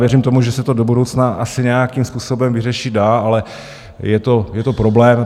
Věřím tomu, že se to do budoucna asi nějakým způsobem vyřešit dá, ale je to problém.